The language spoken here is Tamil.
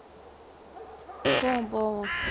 போவோம் போவோம்